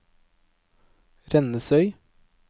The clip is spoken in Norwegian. Rennesøy